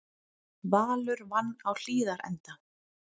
Valur vann á Hlíðarenda